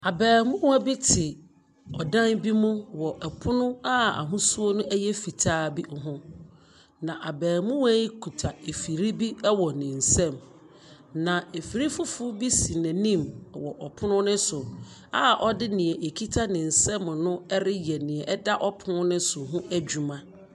Abaamuwa bi te ɔdan bi mu wɔ pono a ahosuo no yɛ fitaa ho. Na abaamuwa yi kuta afiri bi wɔ ne nsam. Na afiri foforo bi si n'anim wɔ pono no so a ɔde nea ekita ne nsam no reyɛ nea ɛda pon no so ho adwuma.